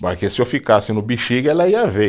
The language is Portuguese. se eu ficasse no Bixiga, ela ia ver.